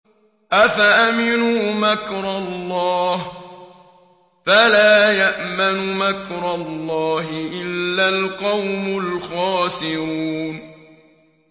أَفَأَمِنُوا مَكْرَ اللَّهِ ۚ فَلَا يَأْمَنُ مَكْرَ اللَّهِ إِلَّا الْقَوْمُ الْخَاسِرُونَ